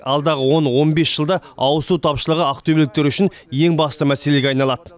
алдағы он он бес жылда ауызсу тапшылығы ақтөбеліктер үшін ең басты мәселеге айналады